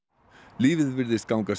lífið virðist ganga